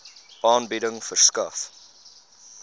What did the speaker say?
aanbieding verskaf